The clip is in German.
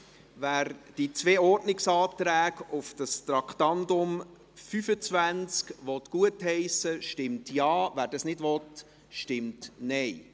Wer die zwei Ordnungsanträge zum Traktandum 25 gutheissen will, stimmt Ja, wer dies nicht will, stimmt Nein.